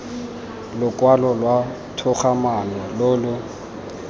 lokwalo lwa togamaano lo lo